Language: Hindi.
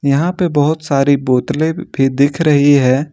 यहां पे बहुत सारी बोतले भी दिख रही है।